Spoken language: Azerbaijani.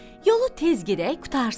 Yolu tez gedək qurtarsın.